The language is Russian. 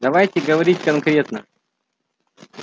давайте говорить конкретно